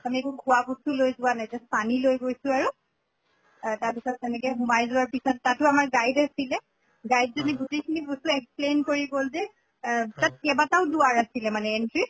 আমি একো খোৱা বস্তু লৈ যোৱা নাই just পানী লৈ গৈছো আৰু আ তাৰ পিছত তেনেকে সোমাই যোৱাৰ পিছত তাতো আমাৰ guide আছিলে। guide জনে গোটেই খিনি বস্তু explain কৰি গʼল যে এহ তাত কেইবাটাও দ্বাৰ আছিলে মানে entry ৰ